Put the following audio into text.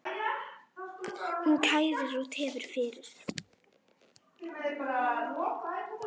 Hún kærir og tefur fyrir.